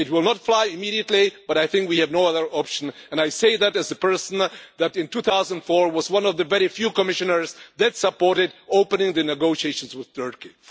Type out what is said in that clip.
It will not fly immediately, but I think we have no other option, and I say that as a person that in 2004 was one of the very few Commissioners that supported opening the negotiations with Turkey.